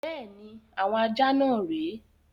Bẹ́ẹ̀ni, àwọn ajá náà rè é.